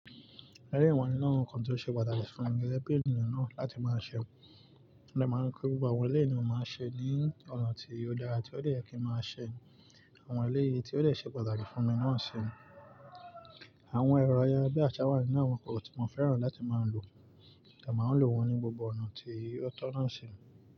Ẹleyi wa ninu nkàn tó ṣe pàtàkì fún mi, gége bi ènìyàn náà láti máa ṣẹ́. Mo de máa ń kọ́ gbogbo àwọn ilé ìná máa ṣe ní ọ̀nà tí ó dára tí ó de yè kí máa ṣẹ. Àwọn eleyìí tí ó de se pàtàkì fún mi náà ṣi. Àwọn ẹ̀rọ ayara bí asa wa ninú àwọn kò tí mo fẹ́ràn láti máa lò. Mo de máa ń lò wọ́n ní gbogbo ọ̀nà tí ọ̀tọ̀ náà ṣi.